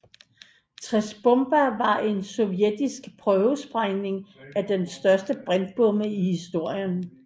Tsar Bomba var en sovjetisk prøvesprængning af den største brintbombe i historien